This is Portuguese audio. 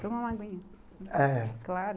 Toma uma aguinha. É. Claro.